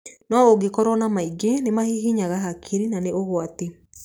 No ũngĩkorwo na maingĩ nĩ mahihinyaga hakiri na nĩ ũgwati.